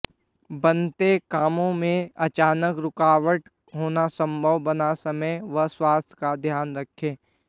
बनते कामों में अचानक रूकावट होना संभव बना समय व स्वास्थ्य का ध्यान रखें